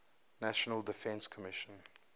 national defense commission